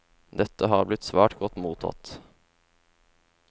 Dette har blitt svært godt mottatt.